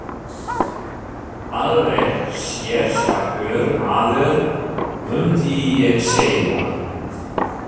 Alveg sérstakur maður, mundi ég segja.